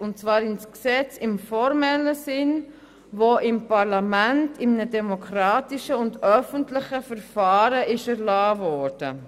Und zwar ins Gesetz im formellen Sinn, welches im Parlament in einem demokratischen und öffentlichen Verfahren erlassen wurde.